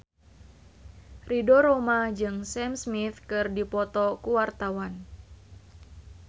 Ridho Roma jeung Sam Smith keur dipoto ku wartawan